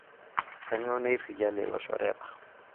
kanyoo nairrikia lelo shoreta